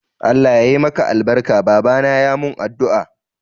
Allah ya yi maka albarka, babana ya mun addu'a.